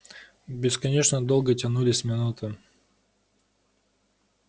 бесконечно долго тянулись минуты